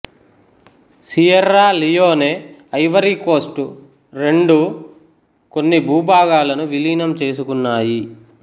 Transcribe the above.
Sierra Leone Ivory Coast రెండూ కొన్ని భూభాగాలను విలీనం చేసుకున్నాయి